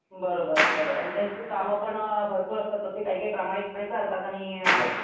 बरोबर बरोबर आणि त्यांची काम पण भरपूर असतात तर ते काय काय प्रामाणिक पणे करतात आणि